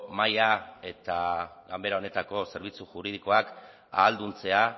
mahaia eta ganbara honetako zerbitzu juridikoak ahalduntzea